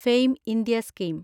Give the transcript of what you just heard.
fame India scheme